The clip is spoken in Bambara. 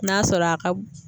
N'a sɔrɔ a ka